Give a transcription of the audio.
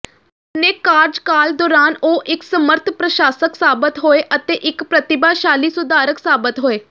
ਆਪਣੇ ਕਾਰਜਕਾਲ ਦੌਰਾਨ ਉਹ ਇਕ ਸਮਰੱਥ ਪ੍ਰਸ਼ਾਸਕ ਸਾਬਤ ਹੋਏ ਅਤੇ ਇੱਕ ਪ੍ਰਤਿਭਾਸ਼ਾਲੀ ਸੁਧਾਰਕ ਸਾਬਤ ਹੋਏ